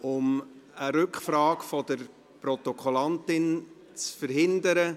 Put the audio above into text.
Um eine Rückfrage der Protokollführerin zu verhindern: